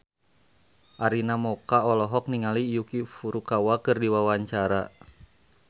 Arina Mocca olohok ningali Yuki Furukawa keur diwawancara